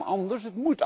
Het kan anders.